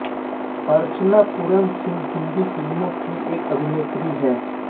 अर्चना पूरन सिंह हिन्दी फ़िल्मों की एक अभिनेत्री हैं